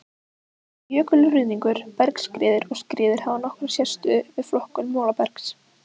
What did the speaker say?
Jökulruðningur, bergskriður og skriður hafa nokkra sérstöðu við flokkun molabergs.